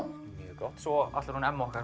gott svo ætlar hún Emma okkar